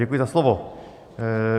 Děkuji za slovo.